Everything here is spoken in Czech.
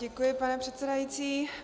Děkuji, pane předsedající.